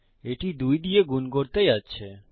এটি দুই দিয়ে গুন করতে যাচ্ছে